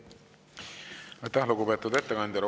Aitäh, lugupeetud ettekandja!